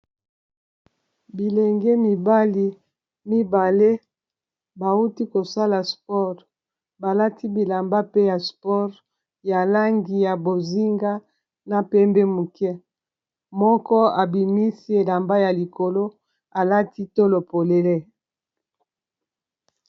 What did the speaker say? Bilenge mibali mibale bawuti kosala sport balati bilamba pe ya sport ya langi ya bozinga na pembe muke moko abimisi elamba ya likolo alati tolo polele.